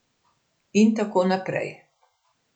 In tako naprej.